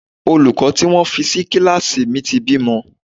Olùkọ́ tí wọ́n fi sí kíláàsì mi ti bímọ.